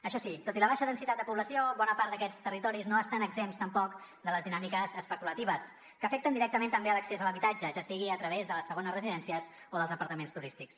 això sí tot i la baixa densitat de població bona part d’aquests territoris no estan exempts tampoc de les dinàmiques especulatives que afecten directament també l’accés a l’habitatge ja sigui a través de les segones residències o dels apartaments turístics